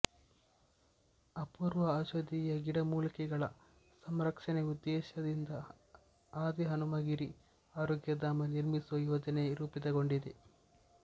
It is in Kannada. ಅಪೂರ್ವ ಔಷಧೀಯ ಗಿಡಮೂಲಿಕೆಗಳ ಸಂರಕ್ಷಣೆಯ ಉದ್ದೇಶದಿಂದ ಆದಿಹನುಮಗಿರಿ ಆರೋಗ್ಯಧಾಮ ನಿರ್ಮಿಸುವ ಯೋಜನೆ ರೂಪಿತಗೊಂಡಿದೆ